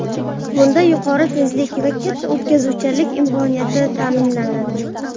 Bunda yuqori tezlik va katta o‘tkazuvchanlik imkoniyati ta’minlanadi.